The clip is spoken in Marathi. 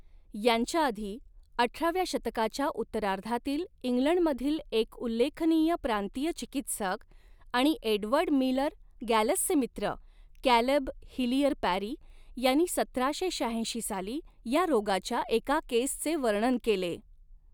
यांच्या आधी, अठराव्या शतकाच्या उत्तरार्धातील इंग्लंडमधील एक उल्लेखनीय प्रांतीय चिकित्सक आणि एडवर्ड मिलर गॅलसचे मित्र, कॅलेब हिलियर पॅरी यांनी सतराशे शहाऐंशी साली या रोगाच्या एका केसचे वर्णन केले.